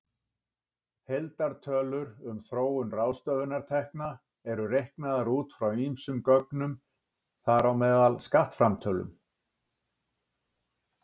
Heildartölur um þróun ráðstöfunartekna eru reiknaðar út frá ýmsum gögnum, þar á meðal skattframtölum.